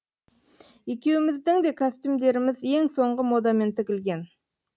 екеуіміздің де костюмдеріміз ең соңғы модамен тігілген